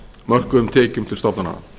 mörkuðum tekjum til stofnana